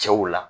Cɛw la